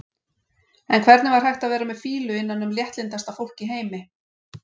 En hvernig var hægt að vera með fýlu innan um léttlyndasta fólk í heimi?